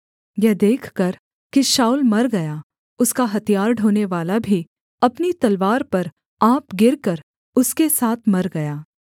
यह देखकर कि शाऊल मर गया उसका हथियार ढोनेवाला भी अपनी तलवार पर आप गिरकर उसके साथ मर गया